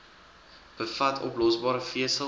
bevat oplosbare vesel